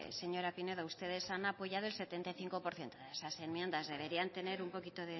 señora pinedo ustedes han apoyado el setenta y cinco por ciento de esas enmiendas deberían tener un poquito